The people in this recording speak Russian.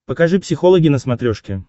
покажи психологи на смотрешке